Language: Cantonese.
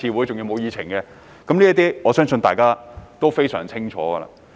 這些事我相信大家都非常清楚。